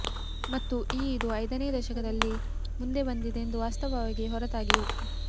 ಮತ್ತು ಈ ಇದು ಐದನೇ ದಶಕದಲ್ಲಿ ಮುಂದೆ ಬಂದಿದೆ ಎಂದು ವಾಸ್ತವವಾಗಿ ಹೊರತಾಗಿಯೂ